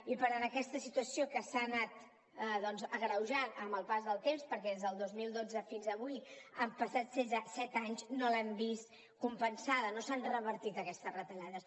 i per tant aquesta situació que s’ha anat agreujant amb el pas del temps perquè des del dos mil dotze fins avui han passat set anys no l’han vist compensada no s’han revertit aquestes retallades